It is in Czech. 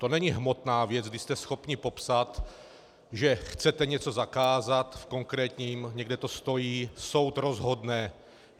To není hmotná věc, kdy jste schopni popsat, že chcete něco zakázat v konkrétním, někde to stojí, soud rozhodne.